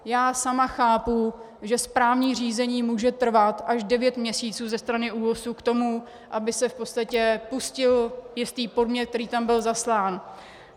Já sama chápu, že správní řízení může trvat až devět měsíců ze strany ÚOHS k tomu, aby se v podstatě pustil jiný podnět, který tam byl zaslán.